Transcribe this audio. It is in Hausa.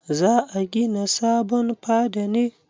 Za a gina sabon fada ne?